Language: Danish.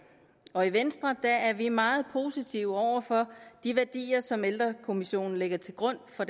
og i venstre er vi meget positive over for de værdier som ældrekommissionen lægger til grund for